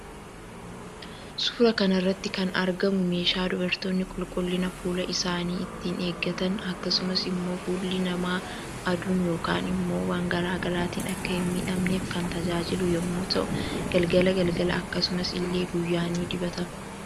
Suuraa kanarratti kan argamu meeshaa dubartoonni qulqullina fuula isaanii ittiin eeggatan akkasumas immoo fuulli nama aduun yookaan immoo waan garaagaraatiin Akka hin miidhamneef kan tajaajilu yommuu ta'u galgala galala akkasumas ille guyya ni dubatama.